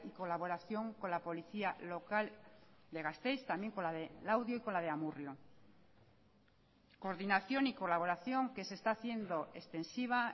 colaboración con la policía local de gasteiz también con la de laudio y con la de amurrio coordinación y colaboración que se está haciendo extensiva